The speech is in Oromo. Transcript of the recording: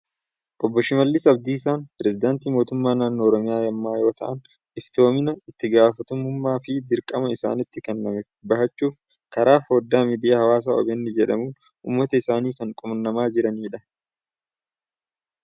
Obbo Shimallis Abdiisaan pireesidaantii mootummaa naannoo Oromiyaa ammaa yoo ta'an, iftoomina, itti gaafatamummaa fi dirqama isaanitti kenname bahachuuf, karaa foddaa miidiyaa Hawaasaa OBN jedhamuun uummata isaanii kan qunnamaa jirani dha.